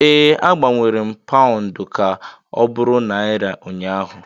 Ee, agbanwere m Paụndụ ka ọ bụrụ Naira ụnyaahụ